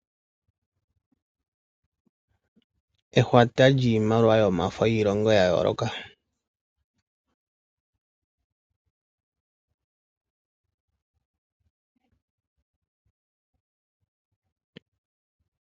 Ehwata lyimaliwa yomafo yi longo ya yooloka.